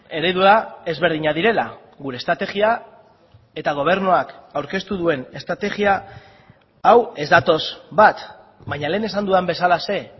eredua ezberdinak direla gure estrategia eta gobernuak aurkeztu duen estrategia hau ez datoz bat baina lehen esan dudan bezalaxe